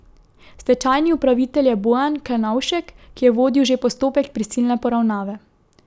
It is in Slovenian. Stečajni upravitelj je Bojan Klenovšek, ki je vodil že postopek prisilne poravnave.